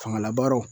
Fangalabaaraw